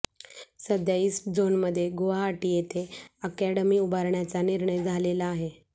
सध्या east zone मध्ये गुवाहाटी इथे अकॅडमी उभारण्याचा निर्णय झालेला आहे